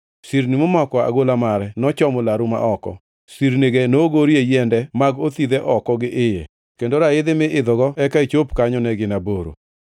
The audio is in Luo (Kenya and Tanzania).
Sirni momako agola mare nochomo laru ma oko; sirnige nogorie yiende mag othidhe oko gi iye, kendo raidhi mi idho eka ichop kanyo ne gin aboro.